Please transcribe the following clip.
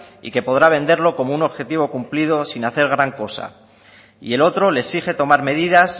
y que podrá venderlo como un objetivo cumplido sin hacer gran cosa y el otro le exige tomar medidas